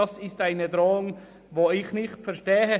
Das ist eine Drohung, die ich nicht verstehe.